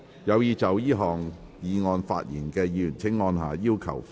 有意就這項議案發言的議員請按下"要求發言"按鈕。